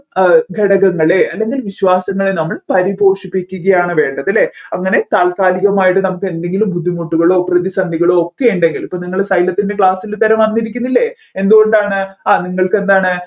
അഹ് ഘടകങ്ങളെ അല്ലെങ്കിൽ വിശ്വാസങ്ങളെ നമ്മൾ പരിപോഷിപ്പിക്കുകയാണ് വേണ്ടത് അല്ലെ അങ്ങനെ താത്കാലികമായി നമ്മുക്ക് എന്തെങ്കിലും ബുദ്ധിമുട്ടുകളോ പ്രതിസന്ധികളോ ഒക്കെ ഉണ്ടെങ്കിൽ ഇപ്പൊ നിങ്ങൾ class ൽ വന്നിരിക്കുന്നില്ലേ എന്തുകൊണ്ടാണ് ആ നിങ്ങൾക്ക് എന്താണ്